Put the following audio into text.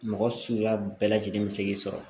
Mɔgɔ suguya bɛɛ lajɛlen mi se k'i sɔrɔ